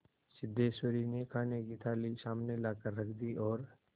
सिद्धेश्वरी ने खाने की थाली सामने लाकर रख दी और